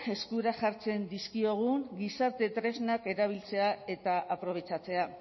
eskura jartzen dizkiogun gizarte tresnak erabiltzea eta aprobetxatzea